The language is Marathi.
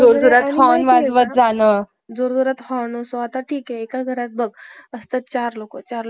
Girls high school आणि अलेक्सान्डरा गर्ल्स हाय स्कूल या दोन्हीही ठिकाणी अर्धवेळ अध्यापनाचे काम केले. या दोनही शाळातील,